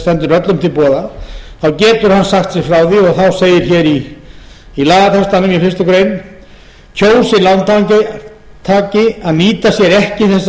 stendur öllum til boða getur hann sagt sig frá því og þá segir hér í lagatextanum í fyrstu grein kjósi lántaki að nýta sér ekki þessa